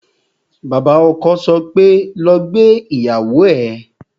Bàbá ọkọ sọ pé "lọ gbé ìyàwó ẹ"